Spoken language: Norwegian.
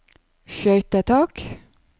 skøytetak